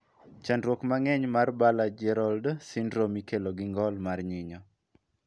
Chandruok mangeny mar Baller Gerold syndrome ikelo gi ngol mar nyinyo.